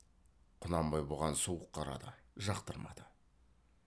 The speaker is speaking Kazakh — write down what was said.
құнанбай бұған суық қарады жақтырмады